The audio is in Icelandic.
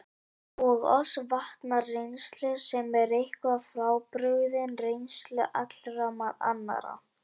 Og oss vantar reynslu, sem er eitthvað frábrugðin reynslu allra annarra.